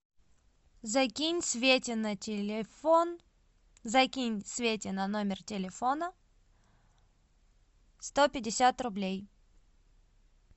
закинь свете на телефон закинь свете на номер телефона сто пятьдесят рублей